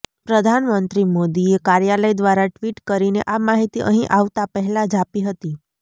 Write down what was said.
પ્રધામ મંત્રી મોદીએ કાર્યાલય દ્વારા ટ્વીટ કરીને આ માહિતી અહિ આવતા પહેલાજ આપી હતી